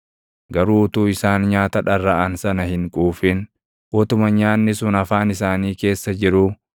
Garuu utuu isaan nyaata dharraʼan sana hin quufin, utuma nyaanni sun afaan isaanii keessa jiruu,